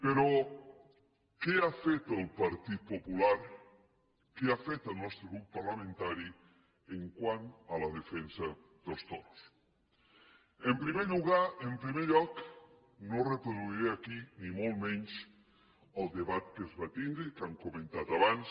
però què ha fet el partit popular què ha fet el nostre grup parlamentari quant a la defensa dels toros en primer lloc no reproduiré aquí ni molt menys el debat que es va tindre i que hem comentat abans